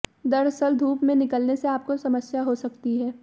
दरअसल धूप में निकलने से आपको समस्या हो सकती है